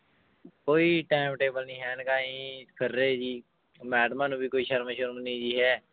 ਕੋਈ time table ਨੀ ਹੈ ਇਨਕਾ ਜੀ ਫਿਰ ਰਹੇ ਜੀ ਮੈਡਮਾਂ ਨੂੰ ਵੀ ਕੋਈ ਸ਼ਰਮ ਸ਼ੁਰਮ ਨੀ ਜੀ ਹੈ